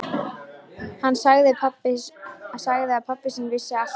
Hann sagði að pabbi sinn vissi allt um málið.